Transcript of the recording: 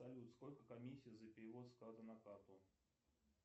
салют сколько комиссия за перевод с карты на карту